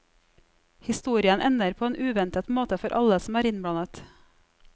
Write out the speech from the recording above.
Historien ender på en uventet måte for alle som er innblandet.